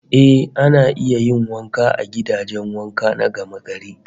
Eh, ana iya yin wanka a gidajen wanka na gamagari